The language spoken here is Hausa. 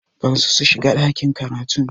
Barsu su shiga ɗakin karatun!